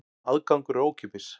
Aðgangur er ókeypis.